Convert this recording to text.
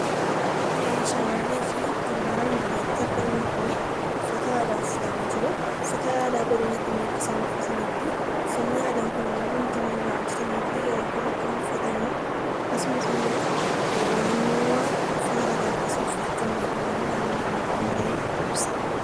Shamarree fi gurbaan armaan olitti argaman kun uffata aadaa uffatanii jiru. Uffata aadaa kan godina kamii akka isaan uffatanii fi uffanni aadaan kun immoo waan inni irraa hojjatamee fi yeroo kam akka inni uffatamu akkasumas immoo naannoowwan uffata aadaa kana uffachuun beekaman naannoowwan kam akka ta'e ibsaa!